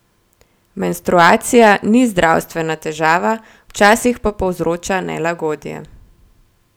Menstruacija ni zdravstvena težava, včasih pa povzroča nelagodje.